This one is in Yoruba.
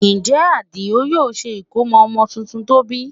Ǹjẹ́ Àdìó yóò ṣe ìkómọ ọmọ tuntun tó bí?